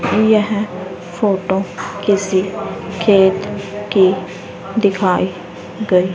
यह फोटो किसी खेत की दिखाई गई--